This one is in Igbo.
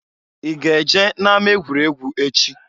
I ga-eje na-ama-egwuregwu echi?